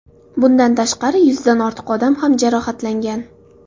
Bundan tashqari, yuzdan ortiq odam jarohatlangan.